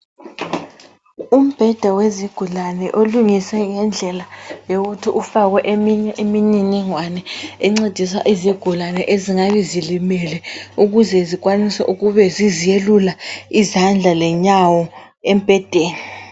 Umbheda wezigulane olungiswe ngendlela yokuthi ufakwe eminye imilingwane encedisa izigulane ezingabe zilimele ukuze zikwanise ukube ziziyelula izandla lenyawo embhedeni.